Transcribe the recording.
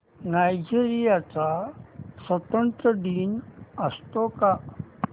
Nigeria चा स्वातंत्र्य दिन असतो का